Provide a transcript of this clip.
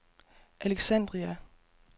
Alexandria